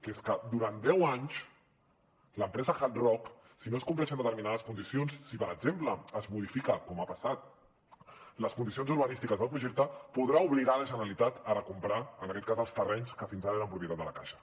que és que durant deu anys l’empresa hard rock si no es compleixen determinades condicions si per exemple es modifiquen com ha passat les condicions urbanístiques del projecte podrà obligar la generalitat a recomprar en aquest cas els terrenys que fins ara eren propietat de la caixa